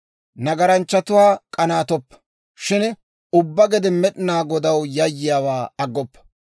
Nagaranchchatuwaa k'anaattoppa; shin ubbaa gede Med'inaa Godaw yayyiyaawaa aggoppa.